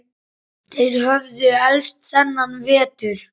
Þeir höfðu elst þennan vetur.